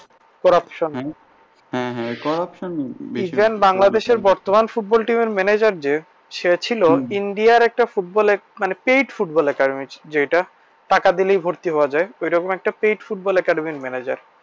Even বাংলাদেশের বর্তমান football team manager যে সে ছিলো ইন্ডিয়ার একটা football মানে paid football academy যেটা টাকা দিলে ভর্তি হওয়া যায় ওরকম একটা paid football academy এর manager